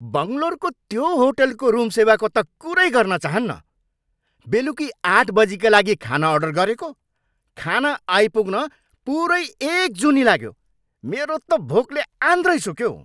बङ्लोरको त्यो होटलको रुम सेवाको त कुरै गर्न चाहन्नँ। बेलुकी आठ बजीका लागि खाना अर्डर गरेको, खाना आइपुग्न पुरै एक जुनी लाग्यो। मेरो त भोकले आन्द्रै सुक्यो।